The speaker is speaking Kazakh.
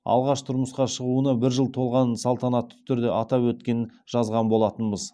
алғаш тұрмысқа шығуына бір жыл толғанын салтанатты түрде атап өткенін жазған болатынбыз